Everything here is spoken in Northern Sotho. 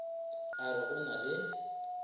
a re go na le